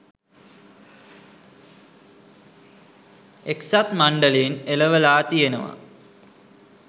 එක්සත් මණ්ඩලයෙන් එළවලා තියෙනවා.